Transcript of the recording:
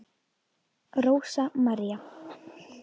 Rósa María.